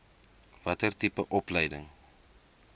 watter tipe opleiding